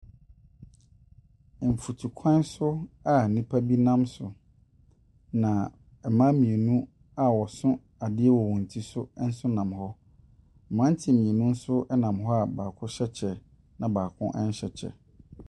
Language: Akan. Mfutukwan so a nnipa bi nam so, na mmaa mmienu a wɔso adeɛ wɔ wɔn ti so nso nam hɔ, mmeranteɛ mmienu nso nam hɔ a baako hyɛ kyɛ na baako nhyɛ kyɛ.